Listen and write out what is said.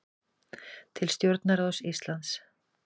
Til stjórnarráðs Íslands